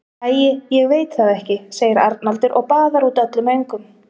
Æi, ég veit það ekki, segir Arnaldur og baðar út öllum öngum.